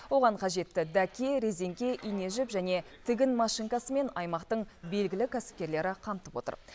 оған қажетті дәке резеңке ине жіп және тігін машинкасымен аймақтың белгілі кәсіпкерлері қамтып отыр